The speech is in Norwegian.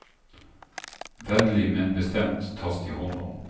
Vennlig, men bestemt tas de hånd om.